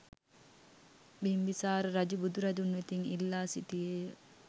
බිම්බිසාර රජු බුදු රදුන් වෙතින් ඉල්ලා සිටියේ ය.